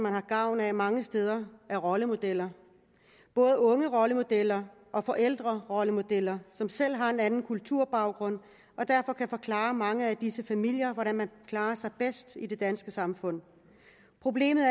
har gavn af mange steder er rollemodeller både ungerollemodeller og forældrerollemodeller som selv har en anden kulturbaggrund og derfor kan forklare mange af disse familier hvordan man klarer sig bedst i det danske samfund problemet